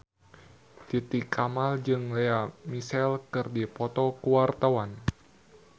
Titi Kamal jeung Lea Michele keur dipoto ku wartawan